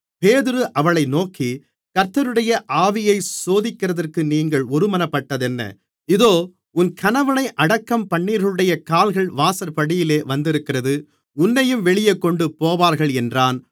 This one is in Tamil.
பேதுரு அவளை நோக்கி கர்த்தருடைய ஆவியைச் சோதிக்கிறதற்கு நீங்கள் ஒருமனப்பட்டதென்ன இதோ உன் கணவனை அடக்கம்பண்ணினவர்களுடைய கால்கள் வாசற்படியிலே வந்திருக்கிறது உன்னையும் வெளியே கொண்டுபோவார்கள் என்றான்